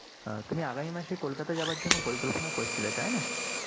তুমি আগামী মাসে কলকাতা যাবার জন্য পরিকল্পনা করছিলে, তাই না?